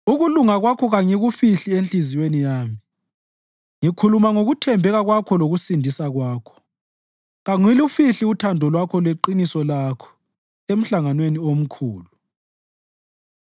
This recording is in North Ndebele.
Ukulunga kwakho kangikufihli enhliziyweni yami; ngikhuluma ngokuthembeka kwakho lokusindisa kwakho. Kangilufihli uthando lwakho leqiniso lakho emhlanganweni omkhulu.